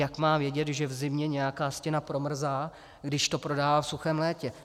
Jak má vědět, že v zimě nějaká stěna promrzá, když to prodává v suchém létě?